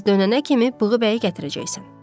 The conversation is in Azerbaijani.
Biz dönənə kimi Bığıbəyi gətirəcəksən.